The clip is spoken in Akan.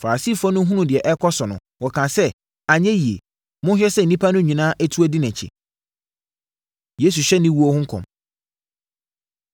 Farisifoɔ no hunuu deɛ ɛrekɔ so no, wɔkaa sɛ, “Anyɛ yie! Monhwɛ sɛ nnipa no nyinaa atu adi nʼakyi!” Yesu Hyɛ Ne Owuo Ho Nkɔm